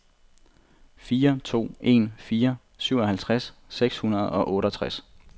fire to en fire syvoghalvtreds seks hundrede og otteogtres